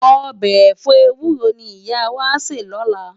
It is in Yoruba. Òbè èfò éwúró ni Iyá wá á sè lòlá